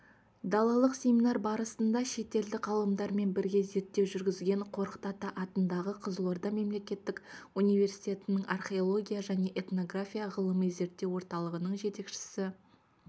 далалық семинар барысында шетелдік ғалымдармен бірге зерттеу жүргізген қорқыт ата атындағы қызылорда мемлекеттік университетінің археология және этнография ғылыми-зерттеу орталығының жетекшісі